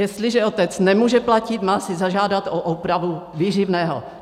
Jestliže otec nemůže platit, má si zažádat o úpravu výživného.